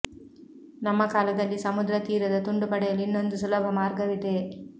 ನಮ್ಮ ಕಾಲದಲ್ಲಿ ಸಮುದ್ರ ತೀರದ ತುಂಡು ಪಡೆಯಲು ಇನ್ನೊಂದು ಸುಲಭ ಮಾರ್ಗವಿದೆ